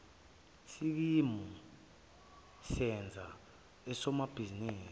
sikimu senza usomabhizinisi